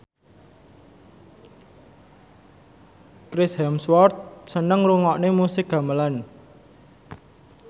Chris Hemsworth seneng ngrungokne musik gamelan